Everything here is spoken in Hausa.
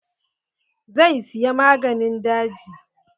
Zai siya maganin daji.